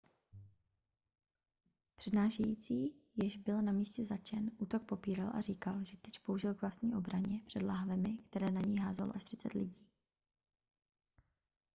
přednášející jež byl na místě zatčen útok popíral a říkal že tyč použil k vlastní obraně před láhvemi které na něj házelo až třicet lidí